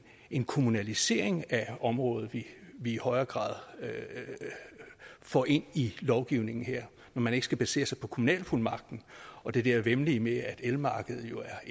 en kommunalisering af området vi i højere grad får ind i lovgivningen her når man ikke skal basere sig på kommunalfuldmagten og det der væmmelige med at elmarkedet jo er